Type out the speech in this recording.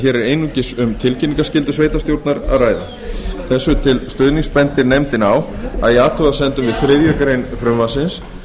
hér er einungis um tilkynningarskyldu sveitarstjórnar að ræða þessu til stuðnings bendir nefndin á að í athugasemdum við þriðju greinar frumvarpsins